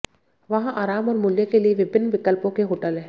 वहाँ आराम और मूल्य के लिए विभिन्न विकल्पों के होटल हैं